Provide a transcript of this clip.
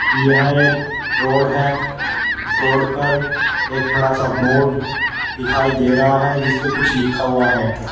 यह एक रोड है इस रोड पर एक बड़ा सा बोर्ड दिखाई दे रहा है जिसपे कुछ लिखा हुआ है।